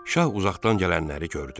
Şah uzaqdan gələnləri gördü.